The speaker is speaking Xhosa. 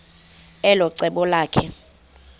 elo cebo lakhe